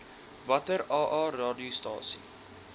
watter aa radiostasies